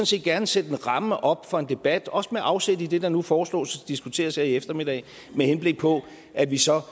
set gerne sætte en ramme op for en debat også med afsæt i det der nu foreslås og diskuteres her i eftermiddag med henblik på at vi så